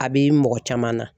A bi mɔgɔ caman na